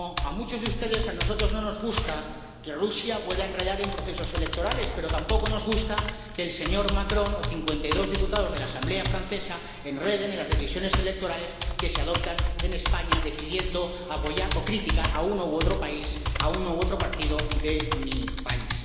Como a muchos de ustedes, a nosotros no nos gusta que Rusia pueda enredar en procesos electorales, pero tampoco nos gusta que el señor Macron o 52 diputados de la Asamblea Nacional francesa enreden en las decisiones electorales que se adoptan en España, decidiendo apoyar o criticar a uno u otro país, a uno u otro partido de mi país.